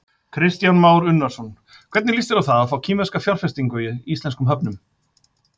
Kristján Már Unnarsson: Hvernig líst þér á það að fá kínverska fjárfestingu í íslenskum höfnum?